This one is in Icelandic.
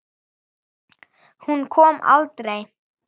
Hún kom aldrei.